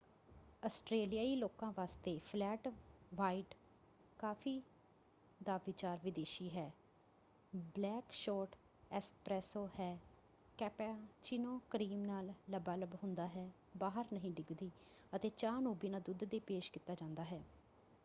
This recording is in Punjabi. ਆਸਟਰੇਲੀਆਈ ਲੋਕਾਂ ਵਾਸਤੇ 'ਫਲੈਟ ਵ੍ਹਾਈਟ' ਕਾਫ਼ੀ ਦਾ ਵਿਚਾਰ ਵਿਦੇਸ਼ੀ ਹੈ। ਬਲੈਕ ਸ਼ੋਰਟ 'ਐਸਪ੍ਰੈਸੋ' ਹੈ ਕੈਪਾਚੀਨੋ ਕ੍ਰੀਮ ਨਾਲ ਲਬਾਲਬ ਹੁੰਦਾ ਹੈ ਬਾਹਰ ਨਹੀਂ ਡਿੱਗਦੀ ਅਤੇ ਚਾਹ ਨੂੰ ਬਿਨਾਂ ਦੁੱਧ ਦੇ ਪੇਸ਼ ਕੀਤਾ ਜਾਂਦਾ ਹੈ।